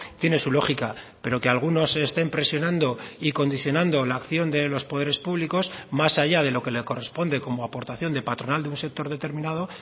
tiene su lógica pero que algunos estén presionando y condicionando la acción de los poderes públicos más allá de lo que le corresponde como aportación de patronal de un sector determinado